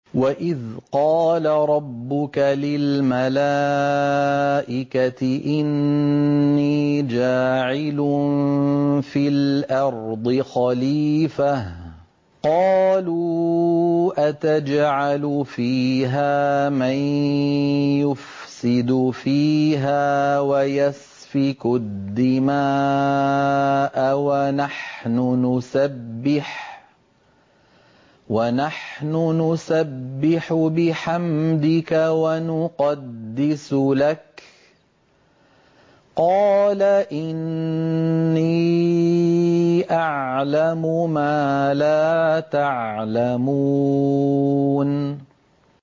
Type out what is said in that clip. وَإِذْ قَالَ رَبُّكَ لِلْمَلَائِكَةِ إِنِّي جَاعِلٌ فِي الْأَرْضِ خَلِيفَةً ۖ قَالُوا أَتَجْعَلُ فِيهَا مَن يُفْسِدُ فِيهَا وَيَسْفِكُ الدِّمَاءَ وَنَحْنُ نُسَبِّحُ بِحَمْدِكَ وَنُقَدِّسُ لَكَ ۖ قَالَ إِنِّي أَعْلَمُ مَا لَا تَعْلَمُونَ